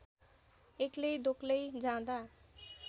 एक्लै दोक्लै जाँदा